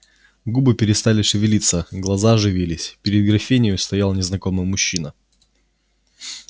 губы перестали шевелиться глаза оживились перед графинею стоял незнакомый мужчина